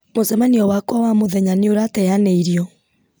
mũcemanio wakwa wa mũthenya nĩ ũrateanĩirio